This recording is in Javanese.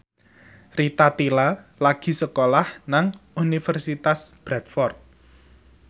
Rita Tila lagi sekolah nang Universitas Bradford